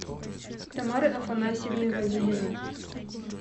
тамары афанасьевны вавилиной